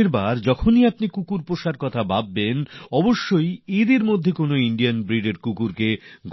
এর পর যখনই আপনারা কুকুর পালনও শিখবেন আপনারা অবশ্যই এগুলির মধ্যে থেকে ভারতীয় প্রজাতির কুকুর